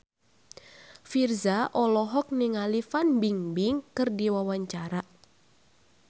Virzha olohok ningali Fan Bingbing keur diwawancara